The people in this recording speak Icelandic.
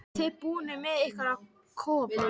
Eruð þið búnir með ykkar kofa?